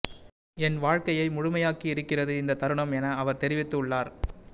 என் வாழ்கையை முழுமையாக்கி இருக்கிறது இந்த தருணம் என்ன அவர் தெரிவித்து உள்ளார்